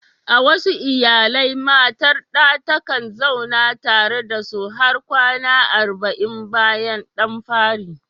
A wasu iyalai, matar ɗa takan zauna tare da su har kwana arba'in bayan ɗan fari.